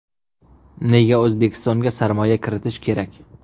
Nega O‘zbekistonga sarmoya kiritish kerak?